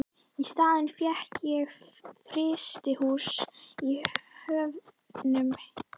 Í staðinn fékk ég frystihús í Höfnum.